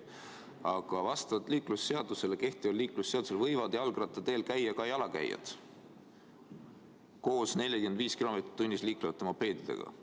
Aga vastavalt kehtivale liiklusseadusele võivad jalgrattateel käia ka jalakäijad koos 45 kilomeetrit tunnis liiklevate mopeedidega.